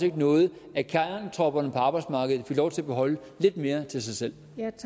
ikke noget at kernetropperne på arbejdsmarkedet fik lov til at beholde lidt mere til sig selv